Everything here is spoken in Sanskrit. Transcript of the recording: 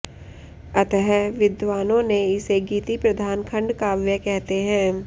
अतः विद्वानों ने इसे गीति प्रधान खंडकाव्य कहते है